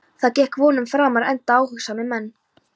Það gekk vonum framar enda áhugasamir menn.